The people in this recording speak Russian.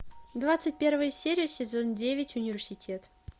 двадцать первая серия сезон девять университет